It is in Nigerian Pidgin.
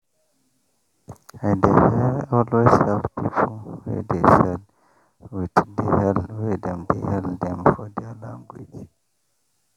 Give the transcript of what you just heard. i dey always hail people wey dey sell with the hail wey dem dey hail dem for their language